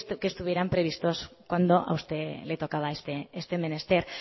que estuvieran previstos cuando a usted le tocaba este menester